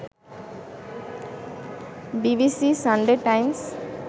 BBC, Sunday Times